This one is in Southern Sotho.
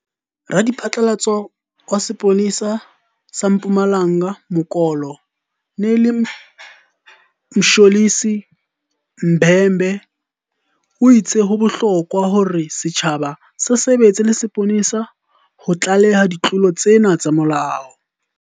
Radiphatlalatso wa sepole sa sa Mpumalanga Mokolo nele Mtsholi Bhembe o itse ho bohlokwa hore setjhaba se sebetse le sepolesa ho tlaleha ditlolo tsena tsa molao.